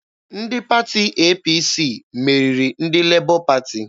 Ndị pati APC meriri ndị Lebọ Pati.